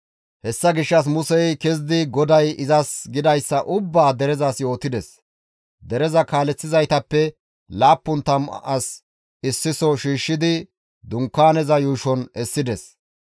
Hessa gishshas Musey kezidi GODAY izas gidayssa ubbaa derezas yootides; dereza kaaleththizaytappe laappun tammu as issiso shiishshidi dunkaaneza yuushon essides.